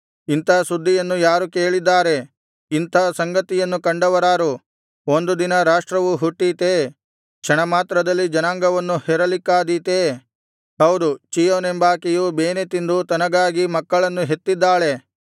ಇಂಥಾ ಸುದ್ದಿಯನ್ನು ಯಾರು ಕೇಳಿದ್ದಾರೆ ಇಂಥಾ ಸಂಗತಿಯನ್ನು ಕಂಡವರಾರು ಒಂದು ದಿನದಲ್ಲಿ ರಾಷ್ಟ್ರವು ಹುಟ್ಟೀತೇ ಕ್ಷಣಮಾತ್ರದಲ್ಲಿ ಜನಾಂಗವನ್ನು ಹೆರಲಿಕ್ಕಾದೀತೇ ಹೌದು ಚೀಯೋನೆಂಬಾಕೆಯು ಬೇನೆತಿಂದು ತನಗಾಗಿ ಮಕ್ಕಳನ್ನು ಹೆತ್ತಿದ್ದಾಳೆ